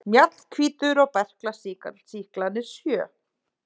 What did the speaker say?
Mjallhvítur og berklasýklarnir sjö.